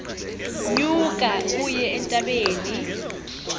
nyuka uye entabeni